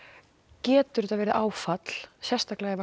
getur þetta verið áfall sérstaklega ef